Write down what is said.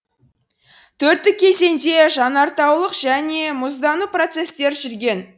төрттік кезеңде жанартаулық және мұздану процестер жүрген